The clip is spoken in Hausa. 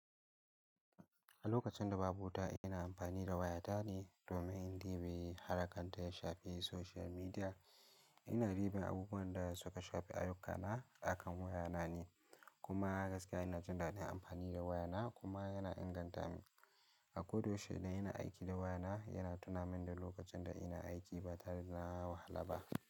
A lokacin da babu wuta ina amfani da wayata ne domin in tini halakantar shafi social media. Ina bibin abubuwan da suka shafi ayyukana, akan wayana ne kuma gaskiya ina jin daɗin amfani da wayana kuma yana inganta min. A ko da yaushe idan ina aiki da wayana yana tuna min da lokacin da ina aiki ba tare da na wahala ba.